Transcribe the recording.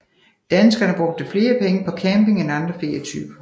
Danskerne brugte flere penge på camping end andre ferietyper